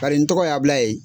Bari n tɔgɔ ye Abilaye.